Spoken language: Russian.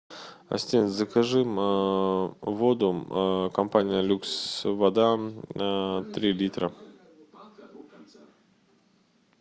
ассистент закажи воду компания люкс вода три литра